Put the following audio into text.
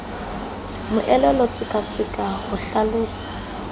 moelelo sekaseka le ho hlalosa